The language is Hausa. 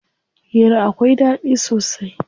Hira akwai ɗaɗi sosai.